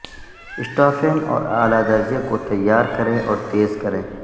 اسٹافین اور اعلی درجے کو تیار کریں اور تیز کریں